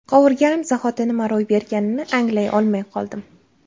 Qovurganim zahoti nima ro‘y berganini anglay olmay qoldim.